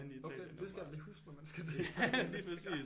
Okay det skal jeg da lige huske når man skal til Italien næste gang